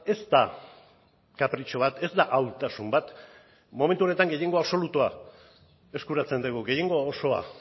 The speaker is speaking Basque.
ez da kapritxo bat ez da ahultasun bat momentu honetan gehiengo absolutua eskuratzen dugu gehiengo osoa